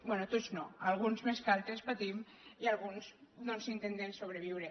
bé tots no alguns més que altres patim i alguns doncs intentem sobreviure